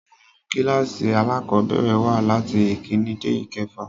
Àwọn kílkàsì alákọ̀bẹ̀rẹ̀ wà latí ìkíni dé ìkefà.